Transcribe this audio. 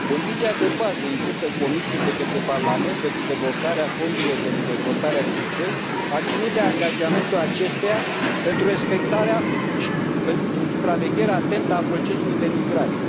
Condiția de bază impusă Comisiei de către Parlament pentru deblocarea fondurilor pentru dezvoltarea SIS II a ținut de angajamentul acesteia pentru respectarea și pentru supravegherea atentă a procesului de migrare.